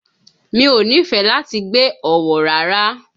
Mi ò nífẹ̀ẹ́ láti gbé Ọ̀wọ̀ rárá.